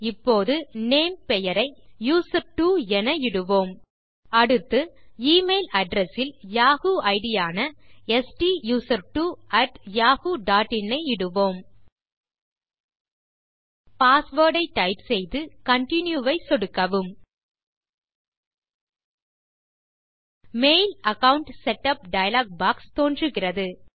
இப்போது நேம் பெயரை யூசர்ட்வோ என் இடுவோம் அடுத்து எமெயில் அட்ரெஸ் இல் யாஹூ இட் ஆன STUSERTWOYAHOOIN ஐ இடுவோம் பாஸ்வேர்ட் டைப் செய்து கன்டின்யூ ஐ சொடுக்கவும் mail account setup dialog box தோன்றுகிறது